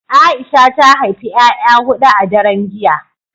Aisha ta haifi 'ya'ya hudu a daren jiya